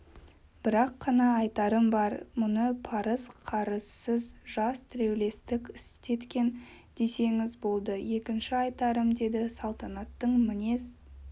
бір-ақ қана айтарым бар мұны парыз-қарызсыз жас тілеулестік істеткен десеңіз болды екінші айтарым деді салтанаттың мінез